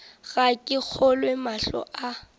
ga ke kgolwe mahlo a